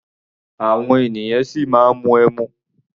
Àwọn ènìyàn ṣì máa ń mu ẹmu.